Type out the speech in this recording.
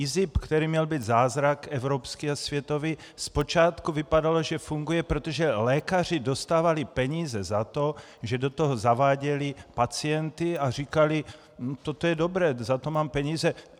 IZIP, který měl být zázrak evropský a světový, zpočátku vypadal, že funguje, protože lékaři dostávali peníze za to, že do toho zaváděli pacienty a říkali: "Toto je dobré, za to mám peníze.